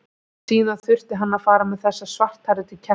Síðan þurfti hann að fara með þessa svarthærðu til Kjartans.